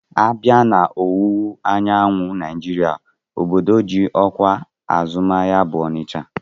A bịa na ọwụwa anyanwụ Naijiria obodo ji ọkwa azụmahịa bụ Ọnịcha